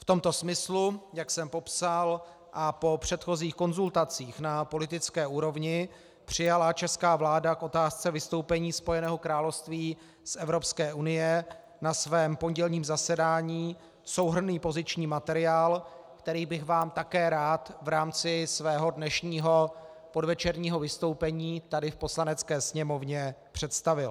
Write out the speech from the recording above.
V tomto smyslu, jak jsem popsal, a po předchozích konzultacích na politické úrovni přijala česká vláda k otázce vystoupení Spojeného království z Evropské unie na svém pondělním zasedání souhrnný poziční materiál, který bych vám také rád v rámci svého dnešního podvečerního vystoupení tady v Poslanecké sněmovně představil.